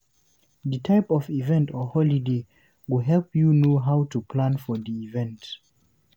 The type of event or holiday, go help you know how to plan for di event